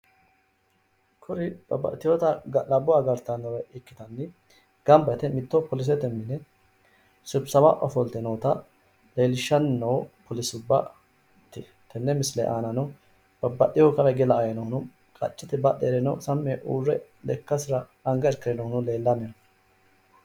Kuri babbaxxiteyota ga'labbo agartannore ikkitanni gamba yite mitto polise mine sibisawa ofolte noota leellishshanni noo polisubbate misileeti tenne misile aanano babbaxxeyoohu kawa hige la"aahuno qaccete badhe heere lekkasira anga irkire noohuno leellanni no